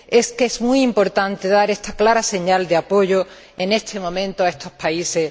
Es muy importante dar esta clara señal de apoyo en este momento a estos países.